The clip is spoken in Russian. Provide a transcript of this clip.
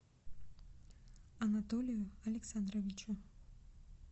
анатолию александровичу